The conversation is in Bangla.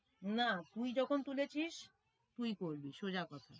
না তুই যখন তুলেছিস তুই করবি সোজা কথা